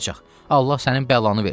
Allah sənin bəlanı versin.